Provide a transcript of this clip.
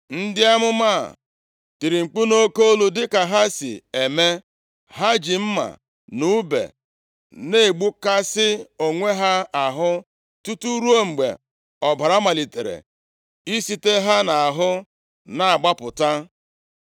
Ndị amụma a tiri mkpu nʼoke olu dịka ha si eme. Ha ji mma na ùbe na-egbukasị onwe ha ahụ, tutu ruo mgbe ọbara malitere isite ha nʼahụ na-agbapụta.